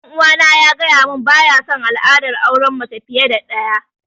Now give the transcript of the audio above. Ɗan uwana ya gaya mun baya sun al'adar auren mace fiye da ɗaya